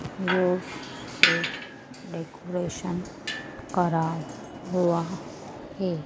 वो से डेकोरेशन करा हुआ हैं।